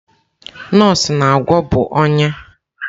Nọọsụ na-agwọ bụ ọnya.